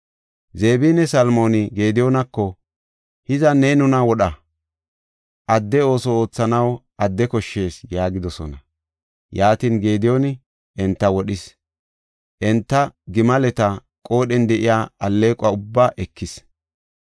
Zebinne Salmooni Gediyoonako, “Hiza ne nuna wodha; adde ooso oothanaw adde koshshees” yaagidosona. Yaatin, Gediyooni enta wodhis; enta gimaleta qoodhen de7iya alleeqo ubbaa ekis.